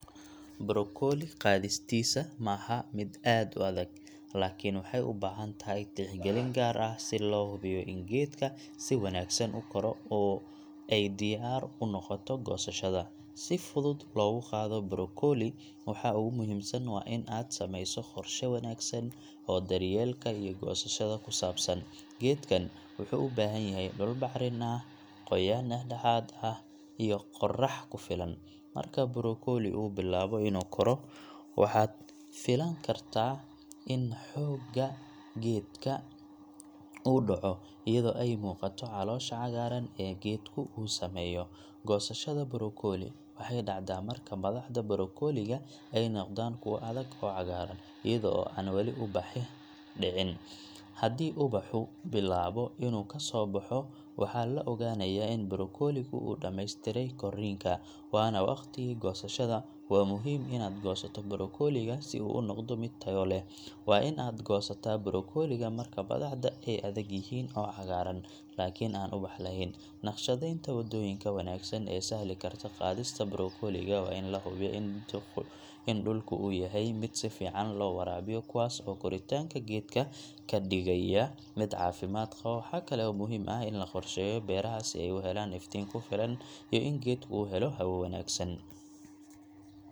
Brokolli qaadistiisa ma aha mid aad u adag, laakiin waxay u baahan tahay tixgelin gaar ah si loo hubiyo in geedka si wanaagsan u koro oo ay diyaar u noqoto goosashada. Si fudud loogu qaado brokolli, waxa ugu muhiimsan waa in aad samayso qorshe wanaagsan oo daryeelka iyo goosashada ku saabsan. Geedkan wuxuu u baahan yahay dhul bacrin ah, qoyaan dhexdhexaad ah, iyo qorrax ku filan. Marka brokolli uu bilaabo inuu koro, waxaad filan kartaa in xoogga geedka uu dhaco iyadoo ay muuqato caloosha cagaaran ee geedku uu sameeyo. Goosashada brokolli waxay dhacdaa marka madaxda brokolliga ay noqdaan kuwo adag oo cagaaran, iyada oo aan weli ubax dhicin. Haddii ubaxu bilaabo inuu ka soo baxo, waxaa la ogaanayaa in brokolligu uu dhammeystiray korriinka, waana waqtigii goosashada. Waa muhiim inaad goosato brokolliga si uu u noqdo mid tayo leh. Waa in aad goosataa brokolliga marka madaxda ay adag yihiin oo cagaaran, laakiin aan ubax lahayn. Nakhshadeynta waddooyinka wanaagsan ee sahli karta qaadista brokolliga waa in la hubiyo in dhulku uu yahay mid si fiican loo waraabiyo, kuwaas oo koritaanka geedka ka dhigaya mid caafimaad qaba. Waxa kale oo muhiim ah in la qorsheeyo beeraha si ay u helaan iftiin ku filan iyo in geedku uu helo hawo wanaagsan.